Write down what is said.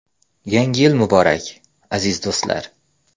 Yangi yil muborak, aziz do‘stlar!